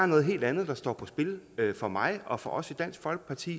noget helt andet der står på spil for mig og for os i dansk folkeparti